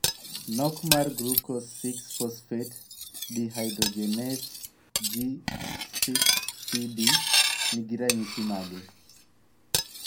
Nok mar glucose 6 phosphate dehydrogenase (G6PD) ni gi ranyisi mage?